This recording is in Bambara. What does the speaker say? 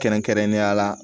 Kɛrɛnkɛrɛnnenya la